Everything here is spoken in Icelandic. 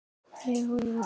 spyr Sigrún.